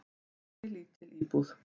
"""Kósí, lítil íbúð."""